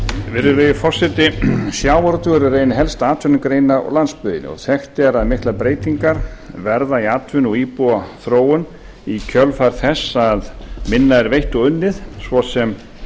virðulegi forseti sjávarútvegur er ein helsta atvinnugrein á landsbyggðinni og þekkt er að miklar breytingar verða í atvinnu og íbúaþróun í kjölfar þess að minna er veitt og unnið svo sem